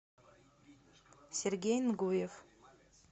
сергей нгуев